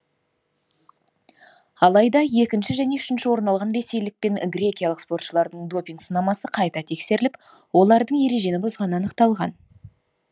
алайда екінші және үшінші орын алған ресейлік пен грекиялық спортшылардың допинг сынамасы қайта тексеріліп олардың ережені бұзғаны анықталған